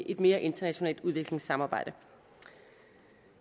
et mere internationalt udvekslingssamarbejde